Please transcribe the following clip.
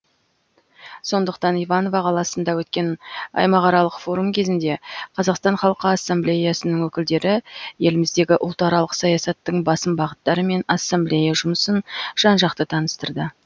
сондықтан иваново қаласында өткен аймақаралық форум кезінде қазақстан халқы ассамблеясының өкілдері еліміздегі ұлтаралық саясаттың басым бағыттары мен ассамблея жұмысын жан жақты таныстырды